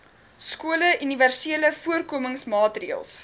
skole universele voorkomingsmaatreëls